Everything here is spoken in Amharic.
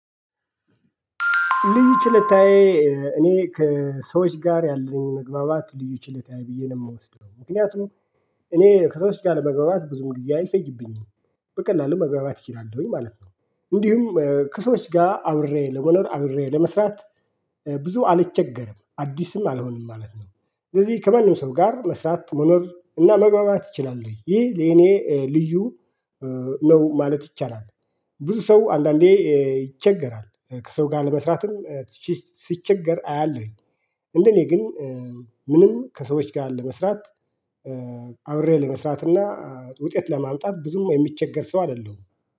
ልዩ ችለታዬ እኔ ከሰዎች ጋር ያለኝ መግባባት ልዩ ችለታዬ ብዬ ነው የምወስደው ምክንያቱም እኔ ከሰዎች ጋር ለመግባባት ብዙም ጊዜ አይፈይብኝም በቀላሉ መግባባት እችላለሁኝ ማለት ነው። እንዲሁም ከሰዎች ጋር አብሬ ለመኖር አብሬ ለመስራት ብዙ አልቸገርም አዲስም አልሆንም ማለት ነው። እንደዚህ ከማረም ሰው ጋር መስራት መኖር እና መግባባት እችላሉኝ ይህ ለኔ ልዩ ነው ማለት ይቻላል። ብዙ ሰው አንዳንዴ ይቸገራል ከሰው ለመስራትም ሲቸገር አያለሁኝ። እንደኔ ግን ምንም ከሰዎች ጋር ለመስራት አብሬ ለመስራት እና ውጤት ለማምጣት ብዙም የሚቸገር ሰው አይደለሁም